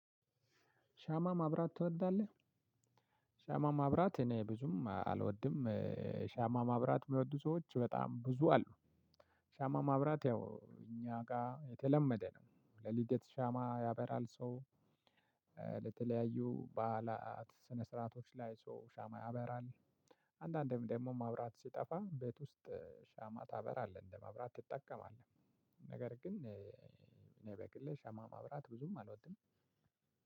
ሻማ ማብራት ትወዳለህ? ሻማ ማብራት እኔ ብዙም አልወድም። ሻማ ማብራት የሚወዱ ሰዎች በጣም ብዙ አሉ። ሻማ ማብራት ያው እኛ ጋር የተለመደ ነው። ለልደት ሻማ ያበራል ሰው። ለተለያዩ በዓላት ስነ ስርዓቶች ላይ ሰው ሻማ ያበራል። አንዳንዴም ደግሞ ማብራት ሲጠፋ ቤት ውስጥ ሻማ ታበራለህ እንደማብራት ትጠቀማለህ። ነገር ግን እኔ በግሌ ሻማ ማብራት ብዙም አልወድም።